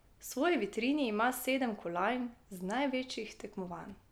V svoji vitrini ima sedem kolajn z največjih tekmovanj.